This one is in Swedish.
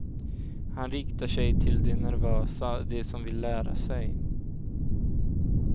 Han riktar sig till de nervösa, de som vill lära sig.